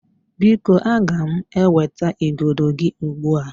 Biko, aga m eweta igodo gị ugbu a.